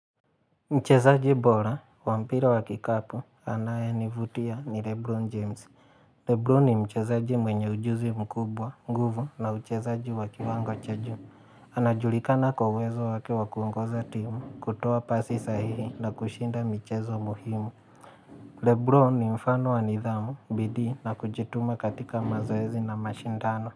Mchezaji bora, wa mpira wa kikapu, anayenivutia ni Lebron James. Lebron ni mchezaji mwenye ujuzi mkubwa, nguvu na uchezaji wa kiwango cha juu. Anajulikana kwa uwezo wake wa kuongoza timu, kutuoa pasi sahihi na kushinda michezo muhimu. Lebron ni mfano wa nidhamu, bidii na kujituma katika mazoezi na mashindano.